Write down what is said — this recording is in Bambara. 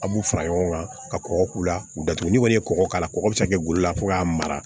A b'u fara ɲɔgɔn kan ka kɔgɔ k'u la k'u datugu ni kɔni ye kɔgɔ k'a la kɔgɔ bɛ se ka kɛ golo la fo k'a mara